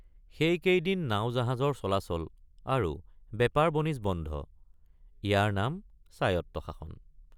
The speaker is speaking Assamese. সেইকেইদিন নাওজাহাজৰ চলাচল আৰু বেপাৰবণিজ বন্ধ ইয়াৰ নাম স্বায়ত্তশাসন।